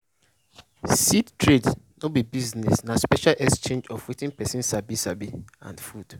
seed trade no be business na a special exchange of wetin person sabi sabi and food.